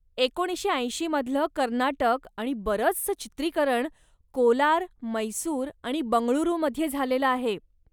एकोणीशे ऐंशीमधल कर्नाटक आणि बरचसं चित्रीकरण कोलार, मैसूर आणि बंगळुरूमध्ये झालेलं आहे.